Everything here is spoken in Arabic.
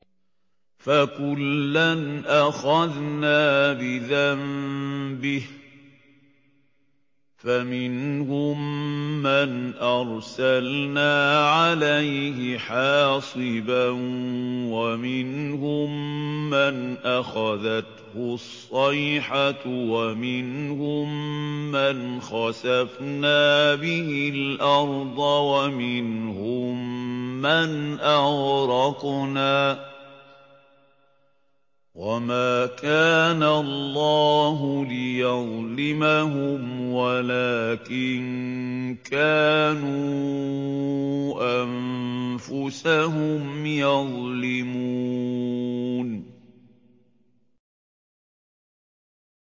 فَكُلًّا أَخَذْنَا بِذَنبِهِ ۖ فَمِنْهُم مَّنْ أَرْسَلْنَا عَلَيْهِ حَاصِبًا وَمِنْهُم مَّنْ أَخَذَتْهُ الصَّيْحَةُ وَمِنْهُم مَّنْ خَسَفْنَا بِهِ الْأَرْضَ وَمِنْهُم مَّنْ أَغْرَقْنَا ۚ وَمَا كَانَ اللَّهُ لِيَظْلِمَهُمْ وَلَٰكِن كَانُوا أَنفُسَهُمْ يَظْلِمُونَ